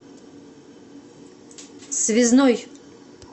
связной